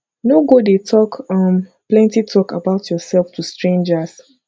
no go dey talk um plenty talk about yourself to strangers